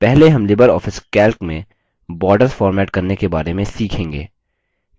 पहले हम LibreOffice calc में borders फॉर्मेट करने के बारे में सीखेंगे